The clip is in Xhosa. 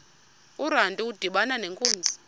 urantu udibana nenkunzi